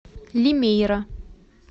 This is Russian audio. лимейра